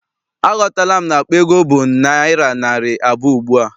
Aghọtala m na akpa ego bụ naịra narị abụọ ugbua.